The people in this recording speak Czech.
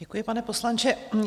Děkuji, pane poslanče.